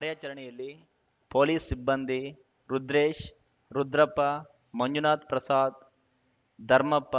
ಕಾರ್ಯಾಚರಣೆಯಲ್ಲಿ ಪೊಲೀಸ್‌ ಸಿಬ್ಬಂದಿ ರುದ್ರೇಶ್‌ ರುದ್ರಪ್ಪ ಮಂಜುನಾಥ್‌ ಪ್ರಸಾದ್‌ ಧರ್ಮಪ್ಪ